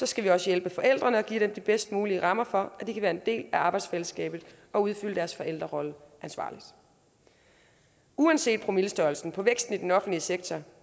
skal vi også hjælpe forældrene og give dem de bedst mulige rammer for at de kan være en del af arbejdsfællesskabet og udfylde deres forældrerolle ansvarligt uanset promillestørrelsen på væksten i den offentlige sektor